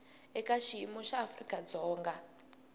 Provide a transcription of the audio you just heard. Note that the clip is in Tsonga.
eka xiyimo xa afrika dzonga